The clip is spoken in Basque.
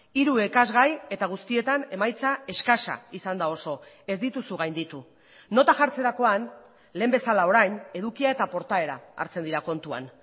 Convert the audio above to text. hiru ikasgai eta guztietan emaitza eskasa izan da oso ez dituzu gainditu nota jartzerakoan lehen bezala orain edukia eta portaera hartzen dira kontuan